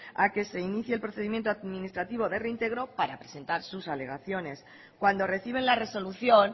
a que se inicie el procedimiento administrativo de reintegro para presentar sus alegaciones cuando reciben la resolución